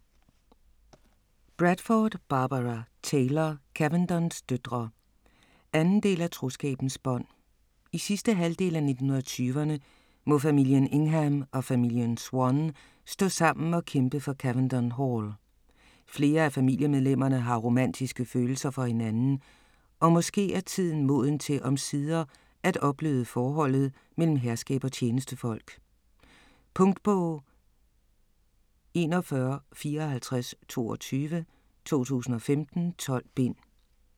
Bradford, Barbara Taylor: Cavendons døtre 2. del af Troskabens bånd. I sidste halvdel af 1920'erne må familien Ingham og familien Swann stå sammen og kæmpe for Cavendon Hall. Flere af familiemedlemmerne har romantiske følelser for hinanden, og måske er tiden moden til omsider at opbløde forholdet mellem herskab og tjenestefolk? Punktbog 415422 2015. 12 bind.